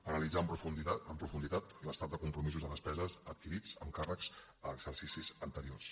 analitzar amb profunditat l’estat de compromisos de despeses adquirits amb càrrecs en exercicis anteriors